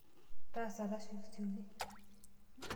Taasa tasiokisioki.